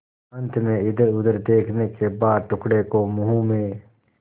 अंत में इधरउधर देखने के बाद टुकड़े को मुँह में